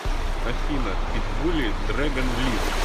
афина питбули дрэгон лив